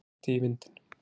Það bætti í vindinn.